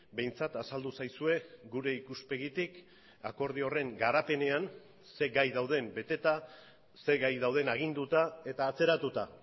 behintzat azaldu zaizue gure ikuspegitik akordio horren garapenean ze gai dauden beteta ze gai dauden aginduta eta atzeratuta